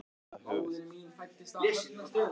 Hvernig er þessu banni framfylgt og virkar það yfir höfuð?